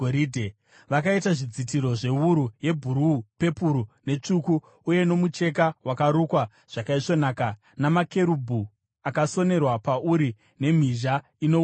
Vakaita zvidzitiro zvewuru yebhuruu, pepuru netsvuku uye nomucheka wakarukwa zvakaisvonaka, namakerubhi akasonerwa pauri nemhizha ino unyanzvi.